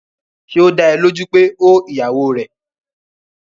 Ṣé ó dá ẹ lójú pé ó ìyàwó rẹ̀?